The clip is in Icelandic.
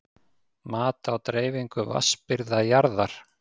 Mat á dreifingu vatnsbirgða jarðar.